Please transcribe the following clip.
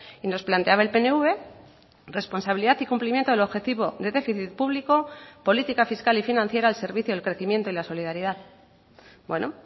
y nos planteaba el pnv responsabilidad y cumplimiento del objetivo de déficit público política fiscal y financiera al servicio del crecimiento y la solidaridad bueno